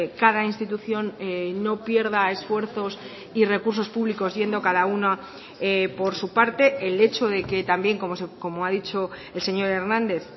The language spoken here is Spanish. cada institución no pierda esfuerzos y recursos públicos yendo cada uno por su parte el hecho de que también como ha dicho el señor hernández